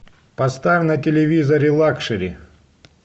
поставь на телевизоре лакшери